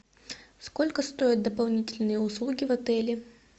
сколько стоят дополнительные услуги в отеле